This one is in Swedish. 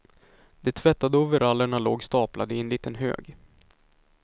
De tvättade overallerna låg staplade i en liten hög.